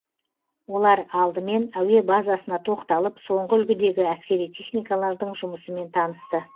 олар алдымен әуе базасына тоқталып соңғы үлгідегі әскери техникалардың жұмысымен танысты